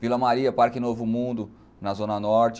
Vila Maria, Parque Novo Mundo, na Zona Norte.